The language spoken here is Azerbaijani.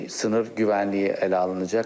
Sınır güvənliyi ələ alınacaq.